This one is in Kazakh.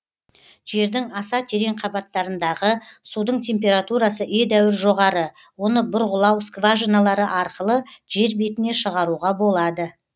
жердің аса терең қабаттарындағы судың температурасы едәуір жоғары оны бұрғылау скважиналары арқылы жер бетіне шығаруға болады